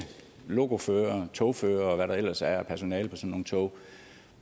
lokoførere og togførere og hvad der ellers er af personale på nogle tog